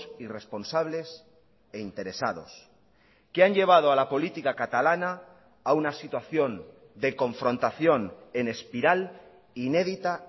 irresponsables e interesados que han llevado a la política catalana a una situación de confrontación en espiral inédita